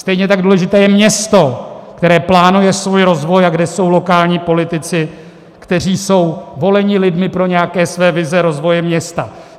Stejně tak důležité je město, které plánuje svůj rozvoj a kde jsou lokální politici, kteří jsou voleni lidmi pro nějaké své vize rozvoje města.